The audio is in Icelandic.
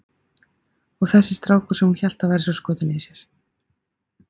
Og þessi strákur sem hún hélt að væri svo skotinn í sér!